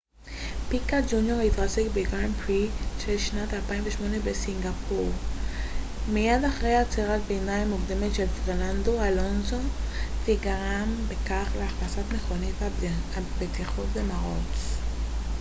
פיקה ג'וניור התרסק בגרנד פרי של שנת 2008 בסינגפור מיד אחרי עצירת ביניים מוקדמת של פרננדו אלונסו וגרם בכך להכנסת מכונית הבטיחות למרוץ